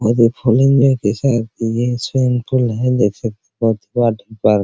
बहुत ही full enjoy के साथ ये स्विमिंग पूल है वाटरपार्क --